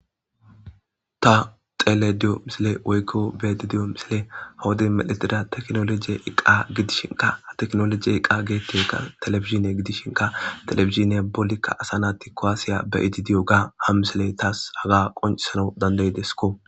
Ta xelida diyo misiley woyko beyayda diyo misiley ha wodiya medhetida tekinoloje eqa gidishinka ha tekinoloje eqayka television gidishinka televisioniya balika asa nati kuwasiya ka'id diyoga ha misiley tas haga qoncisanaw danda'idesko.